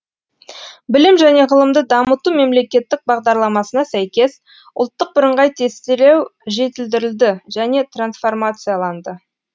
білім және ғылымды дамыту мемлекеттік бағдарламасына сәйкес ұлттық бірыңғай тестілеу жетілдірілді және трансформацияланды